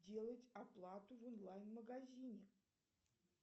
делать оплату в онлайн магазине